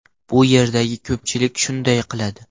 Bu yerdagi ko‘pchilik shunday qiladi.